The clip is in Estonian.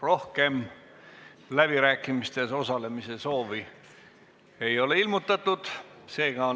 Rohkem läbirääkimistes osalemise soovi ei ole ilmutatud.